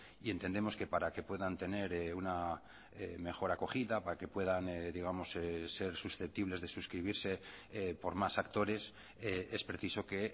y entendemos que para que puedan tener una mejor acogida para que puedan digamos ser susceptibles de suscribirse por más actores es preciso que